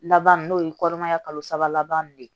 Laban n'o ye kɔnɔmaya kalo saba laban nunnu ye